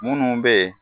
Munnu be ye